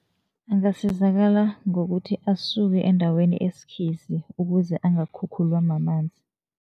Angasizakala ngokuthi, asuke endaweni esikhisi ukuze angakhukhulwa mamanzi.